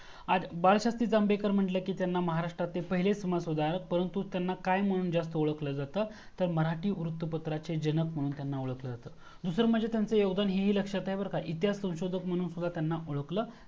आज बाळशास्त्री जांभेकर म्हंटलं तर महारास्त्रतले पहिले महत्व गर, त्यांना जास्त काय मनहून ओळखल जातं तर मराठी वृत पत्राचे जनक म्हणून त्यांना ओळखल जात. दूसर म्हणजे त्यांनाच योगदान हे ही लक्षात आहे बरका इतिहासाचा संशोदक म्हणून ओळखलं